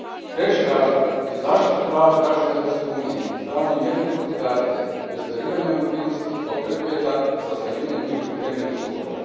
Treći razlog je zaštita prava građana Europske unije izdavanjem jedne putne karte i ostvarivanjem mobilnosti kao preduvjeta za ostvarivanje njihovih temeljnih sloboda.